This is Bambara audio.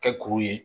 Kɛ kuru ye